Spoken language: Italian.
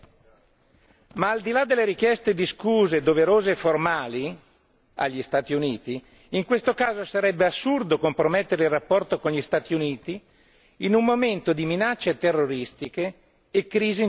Ma al di là delle richieste di scuse doverose e formali dagli Stati Uniti, in questo caso sarebbe assurdo compromettere il rapporto con gli Stati Uniti in un momento di minacce terroristiche e crisi internazionali.